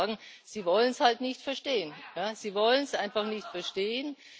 Ich kann nur sagen Sie wollen es halt nicht verstehen. Sie wollen es einfach nicht verstehen.